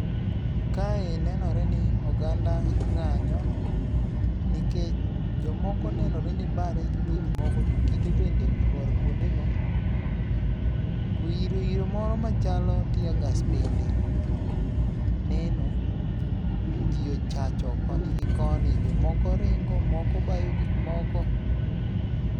Kae nenore ni oganda ng'anyo nikech jomoko nenore ni bare gi gik moko to kite bende oluar kuondego. To iro iro moro machalo teargas bende neno, to ji ochacho koni gi koni, jomoko ringo, moko bayo gik moko.